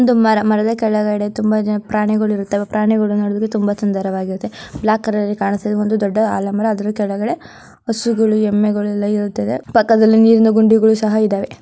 ಒಂದು ಮರ ಮರದ ಕೆಳಗಡೆ ತುಂಬ ಜನ ಪ್ರಾಣಿಗುಳು ಇರುತ್ತವೆ ಪ್ರಾಣಿಗುಳು ನೋಡುವುದಕ್ಕೆ ತುಂಬ ಸುಂದರವಾಗಿರುತ್ತೆ. ಬ್ಲಾಕ್ ಕಲರ್ ಅಲ್ಲಿ ಕಾಣಿಸ್ತಿದೆ ಒಂದು ದೊಡ್ಡ ಆಲದ ಮರ ಅದ್ರ ಕೆಳಗಡೆ ಹಸುಗುಳು ಎಮ್ಮೆಗಳು ಎಲ್ಲ ಇರುತ್ತದೆ ಪಕ್ಕದಲ್ಲಿ ನೀರಿನ ಗುಂಡಿಗುಳು ಸಹ ಇದಾವೆ.